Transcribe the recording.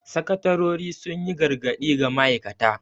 Sakatarori sun yi gargadi ga ma'aikata.